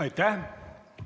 Aitäh!